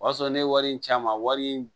O y'a sɔrɔ ne ye wari in san a ma wari in